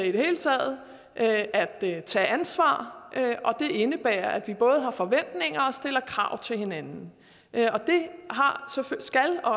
i det hele taget at at tage ansvar og det indebærer at vi både har forventninger og stiller krav til hinanden det skal og